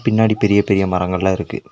பின்னாடி பெரிய பெரிய மரங்கள்ளா இருக்கு.